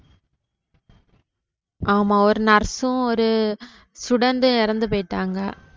ஆமா ஒரு nurse ம் student ம் இறந்து போயிட்டாங்க.